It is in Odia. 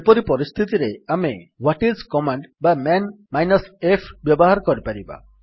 ସେପରି ପରିସ୍ଥିତିରେ ଆମେ ହ୍ୱାଟ ଆଇଏସ କମାଣ୍ଡ ବା ମନ୍ -f ବ୍ୟବହାର କରିପାରିବା